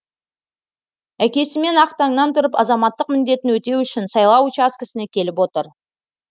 әкесімен ақ таңнан тұрып азаматтық міндетін өтеу үшін сайлау учаскесіне келіп отыр